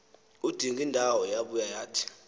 udingindawo yabuya yathi